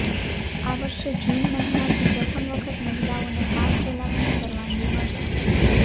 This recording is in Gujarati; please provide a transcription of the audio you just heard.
આ વર્ષે જૂન મહિનાથી પ્રથમ વખત મહિલાઓને કાર ચલાવવાની પરવાનગી મળશે